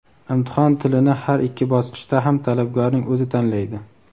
imtihon tilini har ikki bosqichda ham talabgorning o‘zi tanlaydi.